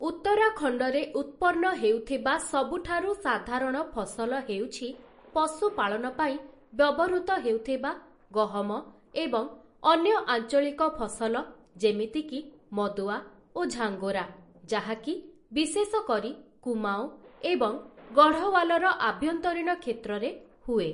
ଉତ୍ତରାଖଣ୍ଡରେ ଉତ୍ପନ୍ନ ହେଉଥିବା ସବୁଠାରୁ ସାଧାରଣ ଫସଲ ହେଉଛି ପଶୁ ପାଳନ ପାଇଁ ବ୍ୟବହୃତ ହେଉଥିବା ଗହମ ଏବଂ ଅନ୍ୟ ଆଞ୍ଚଳିକ ଫସଲ ଯେମିତିକି ମଦୁଆ ଓ ଝାଙ୍ଗୋରା । ଯାହାକି ବିଶେଷ କରି କୁମାଓଁ ଏବଂ ଗଢ଼ୱାଲର ଆଭ୍ୟନ୍ତରୀଣ କ୍ଷେତ୍ରରେ ହୁଏ ।